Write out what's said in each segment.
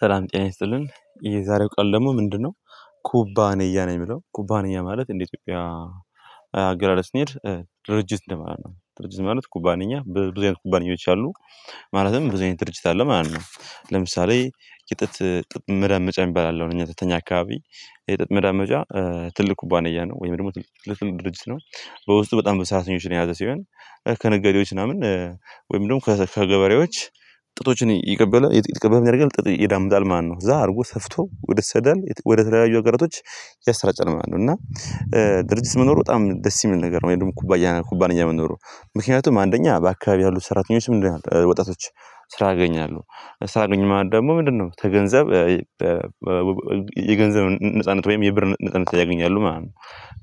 ሰላም ጤና ይስጥልን የዛሬው ቃል ደግሞ ምንድነው? ኩባንያ ነው የምለው ኩባንያ ማለት እንደ ኢትዮጵያ አገላለጽ ስንሄድ ድርጅት እንደ ማለት ነው ድርጅት ማለት ኩባንያ ብዙ አይነት ኩባንያዎች አሉ ማለትም ብዙ ድርጅት አለ ማለት ነው። ለምሳሌ የጥጥ መዳመጫ እሚባል አለ ተኛ አካባቢ የጥጥ መዳመጫ ትልቅ ኩባንያ ነው ወይም ደግሞ ትልቅ ድርጅት ነው። በውስጡ በጣም በዙ ሰራተኞችን የያዘ ሲሆን ከነገዴዎች ምናምን ወይም ደግሞ ከገበሬዎች ጥጦችን ይቀበላል ምን ያደርጋል ጥጥ ይዳምዳል ማለት ነው። እዛ አድርጎ ሰፍቶ ወደሄት ይሰዳል ወደ ተለያዩ ሀገሮች ያሰራጨል እና ድርጅት መኖር በጣም ደስ እሚል ነገር ነው። ወይም ደግሞ ኩባንያ መኖሩ ምክንያቱም አንደኛ በአካባቢው ያሉት ሰራተኞች ምንድነው ወጣቶች ስራ አያኛለሁ ስራ አገኙ ማለት ደግሞ ምንድነው ተገንዘብ የገንዘብ ነጻነት ወይም የብር ነጻነት ያገኛሉ ማለት ነው።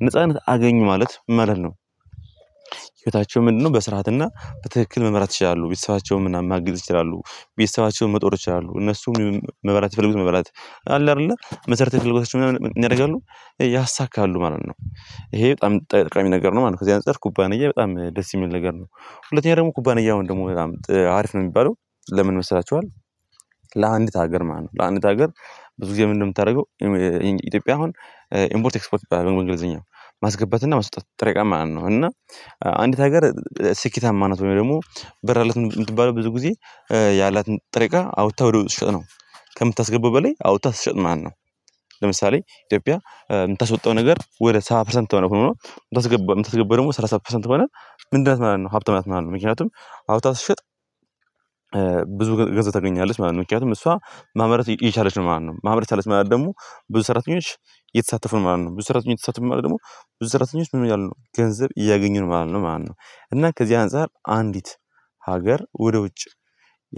ነጻነት አገኙ ማለት ምን ማለት ነው? ህይወታቸው ምንድነው በስርዓትና በትክክል መምራት ይችላሉ። ቤተሰባቸውን ምናምን ማገዝ ይቻላሉ ቤተሰባቸውን መጦር ይቻላሉ እነሱም መብራት የፈለጉት መብራት አለ አይደለ መሰረታዊ ፍላጎታቸው ምን ያደርጋሉ ያሳካሉ ማለት ነው። ይሄ በጣም ጠቅሚ ነገር ነው ማለት ነው ከዚህ አንፃር ኩባንያ በጣም ደስ እሚል ነገር ነው። ሁለተኛ ደግሞ ኩባንያ አሁን ደግሞ በጣም አሪፍ ነው እሚባለው ለምን ይመሰላችኋል? ለአንዲት ሀገር ማለት ነው ለአንዲት ሀገር ብዙ ጊዜ ምን ነው እምታደርገው? ኢትዮጵያ አሁን ኢምፖርት ኤክስፖርት አገልግሎት ማስገባትና ማስወጣት ጥረ ዕቃን ማለት ነው። እና አንዲት ሀገር ስኬታማ ናት ወይም ደግሞ ብር አላት እምትባለው ብዙ ጊዜ ያላት ጥሬ እቃ አውጥታ ወደ ውጭ ስትሰጥ ነው ከምታስገባው በላይ አውጥታ ስትሸጥ ማለት ነው። ለምሳሌ ኢትዮጵያ እምታስወጣው ነገር ወደ ሰባ ፐርሰንት ሆኖ እምታስገባው ደግሞ ሰላሳ ፐርሰንት ከሆነ ምንድናት ማለት ነው? ሀብታም ናት ማን ነው ምክንያቱም ሀብቷን ስትሸጥ ብዙ ገንዘብ ታገኛለች ማለት ነው። ምክንያቱም እሷ ማምረት እየቻለች ነው ማለት ነው። ማምረት ቻለት ማለት ደግሞ ብዙ ሰራተኞች እየተሳተፉ ነው ማለት ነው። ብዙ ሰራተኞች ተሳተፉ ማለት ደግሞ ብዙ ሰራተኞች ምን እያሉ ነው ገንዘብ እያገኙ ነው ማለት ነው ማለት ነው። እና ከዚህ አንፃር አንዲት ሀገር ወደ ውጭ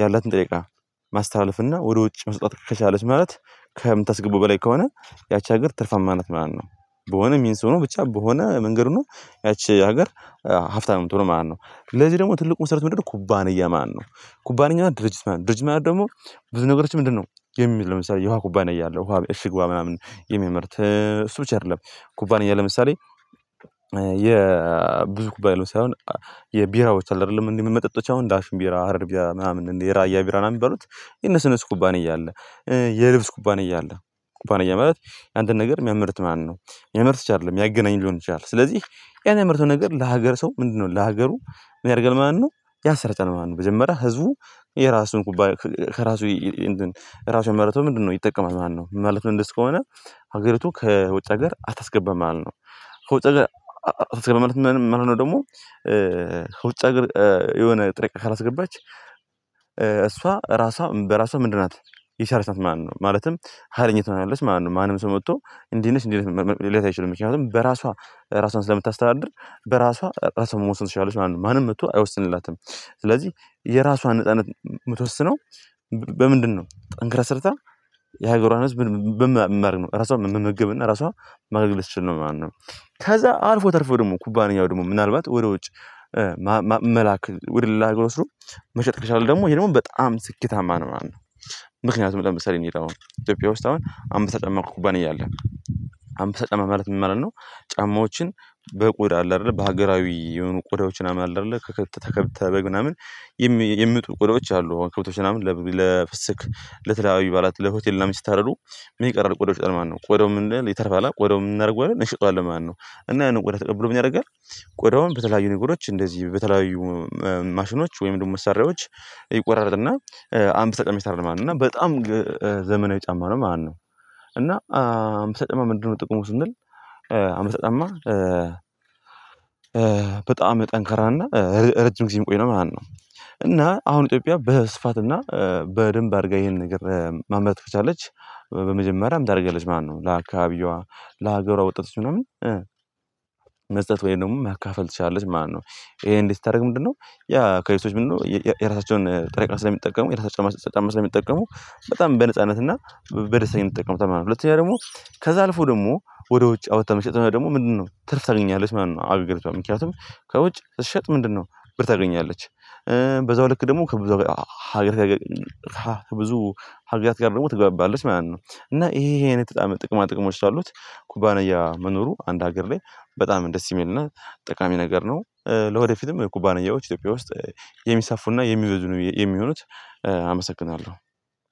ያላትን ጥሬ እቃ ማስተላለፍ እና ወደ ውጭ መስጠት ከቻለች ማለት ከምታስገቡ በላይ ከሆነ ያቺ ሀገር ትርፋማ አይነት ማለት ነው። በሆነ ሚንስ ሆኖ ብቻ በሆነ መንገድ ሆኖ ያቺ ሀገር ሀብታም ነው እምትሆነው ማለት ነው። ለዚህ ደግሞ ትልቁ መሰረት ምንድነው ኩባንያ ማን ነው? ኩባንያ ማለት ድርጅት ማለት ነው ድርጅት ማለት ደግሞ ብዙ ነገሮችን ምንድነው? የሚል ለምሳሌ የውሃ ኩባንያ አለው ውሃ እሺግ ውሃ ምናምን የሚያመርት እሱ ብቻ አይደለም ኩባንያ ለምሳሌ የብዙ ኩባንያ ለምሳሌ አሁን የቢራዎች አለ አይደለም የምንጠጣቸው አሁን ዳሽን ቢራ ሀረር ቢራ ምናምን የራያ ቢራን የሚባሉት የነሱ ኩባንያ አለ። የልብስ ኩባንያ አለ ኩባንያ ማለት አንድን ነገር እሚያመርት ማለት ነው እሚያመርት ብቻ አይደለም ያገናኝ ሊሆን ይችላል። ስለዚህ ያን ያመረተውን ነገር ለሀገር ሰው ምንድነው ለሀገሩ ምን ያደርጋል ማለት ነው። ያሰራጨል ማለት ነው መጀመሪያ ህዝቡ የራሱን ኩባይ ከራሱ እንትን ራሱን ያመርተውን ምንድነው ይጠቀማል ማለት ነው። ምን ማለት ነው? እንደዚህ ከሆነ ሀገሪቱ ከውጭ ሀገር አታስገባም ማለት ነው። ከውጭ ሀገር አታስገባም ማለት መሆን ነው ደግሞ ከውጭ የሆነ ጥሬ እቃ ካላስገባች እሷ ራሷ በራሷ ምንድን ናት የቻለች ናት ማለት ነው። ማለትም ሀይለኛ ትሆናለች ማለት ነው። ማንም ሰው መጥቶ እንዲህ ነሽ እንዲህ ነሽ ሊላት አይችሉም ምክንያቱም በራሷ ራሷን ስለምታስተዳድር በራሷ ራሷን መወሰን ትችላለች ማለት ነው ማንም መጥቶ አይወስንላትም። ስለዚህ የራሷን ነጻነት የምትወስነው በምንድነው ጠንክራ ስርታ የሀገሯን ህዝብ ራሷን መመገብ እና ራሷን ማድረግ ስችል ነው ማለት ነው። ከዛ አልፎ ተርፎ ደግሞ ኩባንያው ደግሞ ምናልባት ወደ ውጭ ወደ ሌላ ሀገር መሸጥ ከቻልክ ደግሞ ይሄ ደግሞ በጣም ስኬታማ ነው ማነው? ምክንያቱም ለምሳሌ እኔ አሁን ኢትዮጵያ ውስጥ አሁን አሁን ተጠመቅኩ ኩባንያ አለ አምበሳ ጫማ ማለት ምን ማለት ነው? ጫማዎችን በቆዳ አለ አይደለ በሀገራዊ የሆኑ ቆዳዎችን አለ አይደለ ከከብት ከበግ ምናምን የሚመጡ ቆዳዎች አሉ አሁን ከብቶች ምናምን ለፍስክ ለተለያዩ በዓላት ለሆቴል ምናምን ሲታረዱ ምን ይቀራል ቆዳው ይቀራል ቆዳው ምን ይተርፋል ቆዳው ምን እናደርገዋለን እንሸጠዋለን ማለት ነው። እና ያንን ቆዳ ተቀብሎ ምን ያደርጋል ቆዳውን በተለያዩ ነገሮች እንደዚህ በተለያዩ ማሽኖች ወይም ደግሞ መሳሪያዎች ይቆራርጥና አምበሳ ጫማዎች ይሰራል ማለት ነው። እና በጣም ጫማ ነው ማለት ነው። እና አምበሳ ጫማ ምንድነው ጥቅሙ ስንል? አምበሳ ጫማ በጣም ጠንካራና ረጅም ጊዜም እሚቆይ ነው ማለት ነው። እና አሁን ኢትዮጵያ በስፋትና በደንብ አድርጋ ይሄን ነገር ማምረት ከቻለች በመጀመሪያ ምን ታደርጋለች ማለት ነው ለአካባቢዋ ለሀገሯ ወጣቶች ምናምን መስጠት ወይም ደግሞ ማካፈል ትችላለች ማለት ነው። ይሄን እንዲህ ስታደርግ ምንድነው የአካባቢዎች ሰዎች ምንድነው የራሳቸውን ጠሬ እቃ ስለሚጠቀሙ የራሳቸውን ጫማ ስለሚጠቀሙ በጣም በነጻነት እና በደስታ ነው እሚጠቀሙት ማለት ነው። ሁለተኛ ደግሞ ከዛ አልፎ ደግሞ ወደ ውጭ አውጥታ መሸጥ ደግሞ ምንድነው ትርፍ ታገኛለች ማለት ነው። አገራችን ምክንያቱም ከውጭ ስትሸጥ ምንድነው ብር ታገኛለች በዛው ልክ ደግሞ ከብዙ ሀገር ጋር ከብዙ ሀገራት ጋር ደግሞ ትገባባለች ማለት ነው። እና ይሄ ይሄ አይነት ጥቅማ ጥቅሞች ስላሉት ኩባንያ መኖሩ አንድ ሀገር ላይ በጣም ደስ የሚልና ጠቃሚ ነገር ነው። ለወደፊትም ኩባንያዎች ኢትዮጵያ ውስጥ የሚሰፉና የሚበዙ የሚሆኑት። አመሰግናለሁ